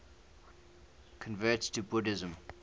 converts to buddhism